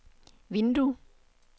vindue